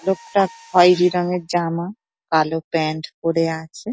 লোকটা খয়েরি রঙের জামা কালো প্যান্ট পড়ে আছে ।